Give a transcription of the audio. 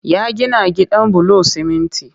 Ya gina gidan bulon siminti